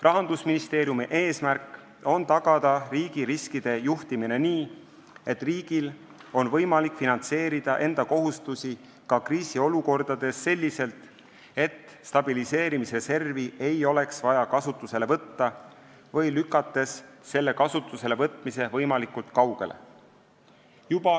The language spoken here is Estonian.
Rahandusministeeriumi eesmärk on tagada riigi riskide juhtimine nii, et riigil oleks võimalik finantseerida enda kohustusi ka kriisiolukordades selliselt, et stabiliseerimisreservi ei oleks vaja kasutusele võtta või lükates selle kasutuselevõtmise võimalikult kaugele.